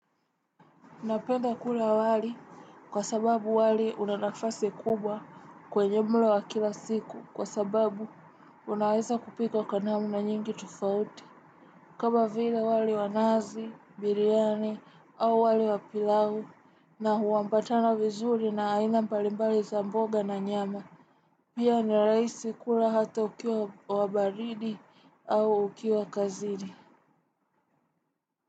Napenda kula wali kwa sababu wali unanafasi kubwa kwenye mlo wa kila siku kwa sababu unaweza kupika kwa namu nyingi tufauti. Kama vile wale wanazi, biriani au wali wa pilau na huwampatana vizuri na aina mbalimbali za mboga na nyama. Pia ni rahisi kula hata ukiwa wabaridi au ukiwa kazini. Kwa hivyo.